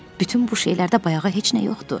Bütün bu şeylərdə bayağı heç nə yoxdu.